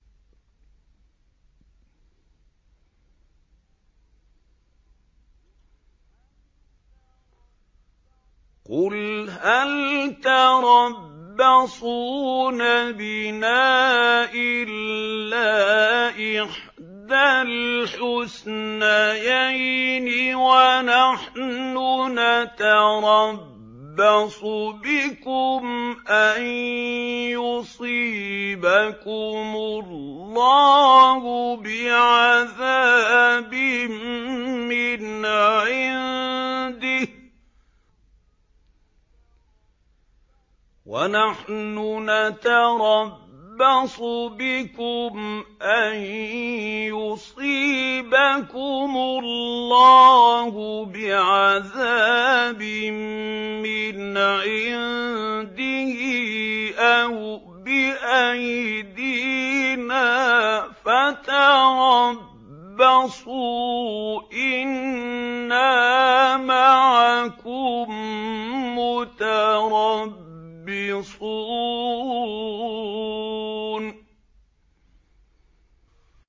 قُلْ هَلْ تَرَبَّصُونَ بِنَا إِلَّا إِحْدَى الْحُسْنَيَيْنِ ۖ وَنَحْنُ نَتَرَبَّصُ بِكُمْ أَن يُصِيبَكُمُ اللَّهُ بِعَذَابٍ مِّنْ عِندِهِ أَوْ بِأَيْدِينَا ۖ فَتَرَبَّصُوا إِنَّا مَعَكُم مُّتَرَبِّصُونَ